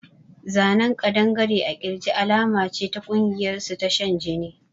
A tattooof a lizard on the chest is a sign of their secret cult